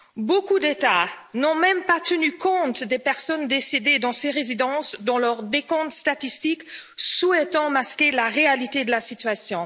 Beaucoup d'États n'ont même pas tenu compte des personnes décédées dans ces résidences dans leurs décomptes statistiques, souhaitant masquer la réalité de la situation.